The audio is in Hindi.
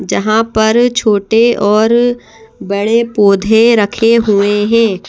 जहाँ पर छोटे और बड़े पौधे रखे हुए हैं।